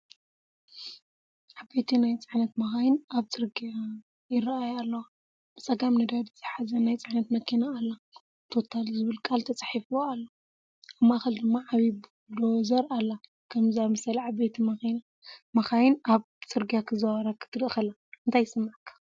ዓበይቲ ናይ ጽዕነት መካይን ኣብ ጽርግያ ይረኣየ ኣለዋ። ብጸጋም ነዳዲ ዝሕዝ ናይ ጽዕነት መኪና ኣላ "ቶታል" ዝብል ቃል ተጻሒፍዋ ኣሎ። ኣብ ማእከል ድማ ዓባይ ቡልዶዘር ኣላ። ከምዚ ዝኣመሰለ ዓበይቲ መካይን ኣብ ጽርግያ ክዝውራ ክትርኢ ከለኻ እንታይ ይስምዓካ?